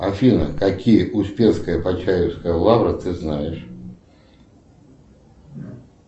афина какие успенская почаевская лавра ты знаешь